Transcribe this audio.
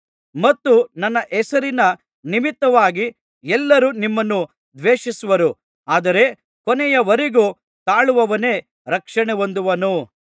ಮತ್ತು ನನ್ನ ಹೆಸರಿನ ನಿಮಿತ್ತವಾಗಿ ಎಲ್ಲರೂ ನಿಮ್ಮನ್ನು ದ್ವೇಷಿಸುವರು ಆದರೆ ಕೊನೆಯವರೆಗೂ ತಾಳುವವನೇ ರಕ್ಷಣೆ ಹೊಂದುವನು